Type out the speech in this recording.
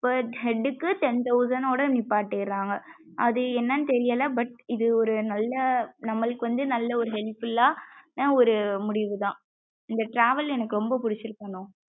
Per head க்கு ten thousand யோட நிப்பாட்டிறாங்க. அது என்னனு தெரியல. But இது ஒரு நல்ல நம்மளுக்கு வந்து நல்லா ஒரு helpful ஆனா ஒரு முடிவு தான் இந்த travel எனக்கு ரொம்ப புடிச்சிருக்குமா?